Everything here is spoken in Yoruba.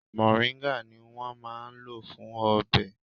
Mòríńgà ni wón máa ń lò fún ọbẹ̀.